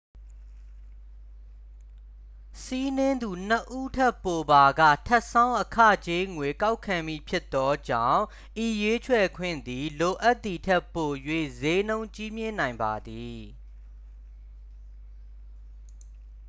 စီးနင်းသူ 2 ဦးထက်ပိုပါက ထပ်ဆောင်း အခကြေးငွေ ကောက်ခံမည်ဖြစ်သောကြောင့် ဤရွေးချယ်ခွင့်သည် လိုအပ်သည်ထက်ပို၍ စျေးနှုန်းကြီးမြင့်နိုင်ပါသည်